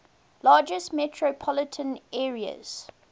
largest metropolitan areas